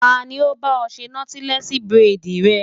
Ta ni ó bá ọ ṣe nọ́tílẹ́ẹ̀sì buredì rẹ?